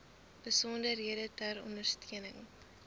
besonderhede ter ondersteuning